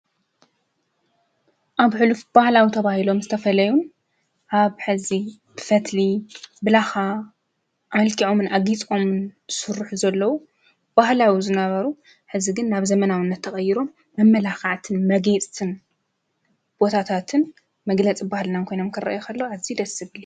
ኣብ ሕሉፍ ባህላዊ ተብይሎ ምስ ተፈለዩን ሃብ ሕዚ ብፈትሊ ብላኻ ኣልኪዖምን ኣጊጽምን ሡሩኅ ዘለዉ ባህላዊ ዝነበሩ ሕዚ ግን ናብ ዘመናውነት ተቐይሮም መመላኽዓትን መጌጽትን ቦታታትን መግለጽ ባህልናን ኮይነኣምከረኢኸለ ኣዙይ ደስብሉ::